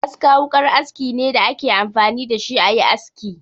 Aska wukar aski ne da a ke amfani da shi a yi aski.